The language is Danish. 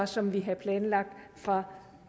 som vi havde planlagt fra